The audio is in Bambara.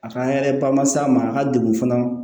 A ka an yɛrɛ ba ma se a ma a ka degun fana